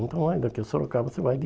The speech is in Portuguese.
Então, vai daqui a Sorocaba, você vai de...